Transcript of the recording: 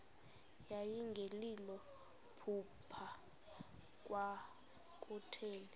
yayingelilo phupha kwakutheni